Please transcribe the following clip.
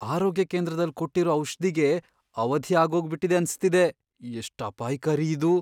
ಆರೋಗ್ಯ ಕೇಂದ್ರದಲ್ ಕೊಟ್ಟಿರೋ ಔಷ್ಧಿಗೆ ಅವಧಿ ಆಗೋಗ್ಬಿಟಿದೆ ಅನ್ಸ್ತಿದೆ, ಎಷ್ಟ್ ಅಪಾಯ್ಕಾರಿ ಇದು!